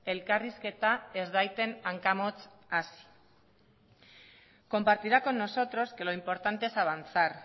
elkarrizketa ez dadin hankamotz hasi compartirá con nosotros que lo importante es avanzar